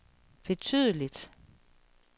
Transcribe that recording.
betydeligt